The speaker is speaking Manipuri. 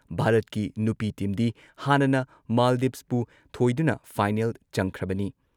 ꯚꯥꯔꯠꯀꯤ ꯅꯨꯄꯤ ꯇꯤꯝꯗꯤ ꯍꯥꯟꯅꯅ ꯃꯥꯜꯗꯤꯚꯁꯄꯨ ꯊꯣꯏꯗꯨꯅ ꯐꯥꯏꯅꯦꯜ ꯆꯪꯈ꯭ꯔꯕꯅꯤ ꯫